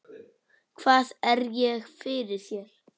Hvað er ég fyrir þér?